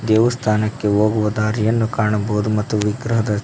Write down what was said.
ದೇವಸ್ಥಾನಕ್ಕೆ ಹೋಗುವ ದಾರಿಯನ್ನು ಕಾಣಬಹುದು ಮತ್ತು ವಿಗ್ರಹದ--